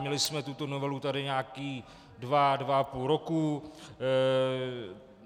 Měli jsme tuto novelu tady nějaké dva, dva a půl roku.